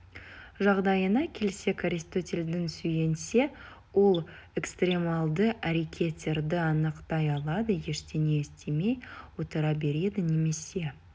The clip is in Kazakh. жағдайына келсек аристотельдің сүйенсе ол экстремалды әрекеттерді анықтай алады ештеңе істемей отыра береді немесе